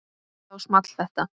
Þá small þetta